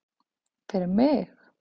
Fyrir mig?